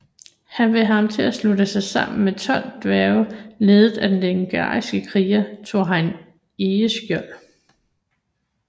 Han vil have ham til at slutte sig sammen med 12 dværge ledet af den legendariske kriger Thorin Egeskjold